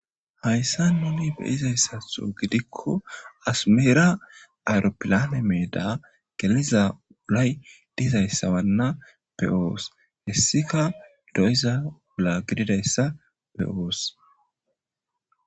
Hayssa nuni be7izayssatho gidikko asmeera ayropilane meeda geliza ulay dizayssabanna be7oos. hessika do7iza ula gididayssa be7oos.